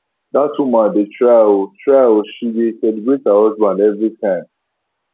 dat woman dey try oo try oo she dey celebrate her husband every time